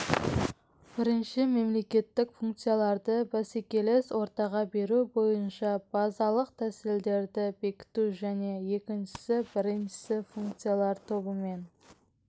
біріншісі мемлекеттік функцияларды бәсекелес ортаға беру бойынша базалық тәсілдерді бекіту және екіншісі бірінші функциялар тобымен